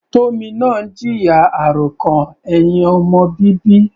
Tomina ń jìyà àròkàn ẹ̀hìn ọmọ bíbí.